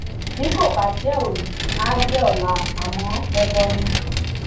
bí kò bá jẹ òní àá jẹ ọla àmọ dandan ni